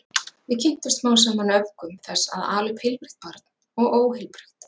Við kynntumst smám saman öfgum þess að ala upp heilbrigt barn og óheilbrigt.